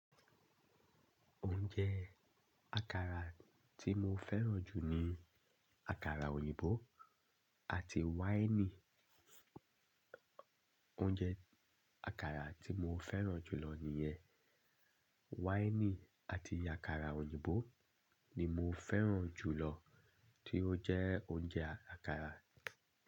Oúnjẹ àkàrà tí mo fẹ́ràn jù ni àkàrà òyìnbó àti wine. Oúnjẹ àkàrà tí mo fẹ́ràn jù lọ nìyẹn. Wáìnì àti àkàrà òyìnbó ni mo fẹ́ràn jù lọ tí ó jẹ́ oúnjẹ àkàrà.